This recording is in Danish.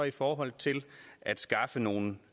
i forhold til at skaffe nogle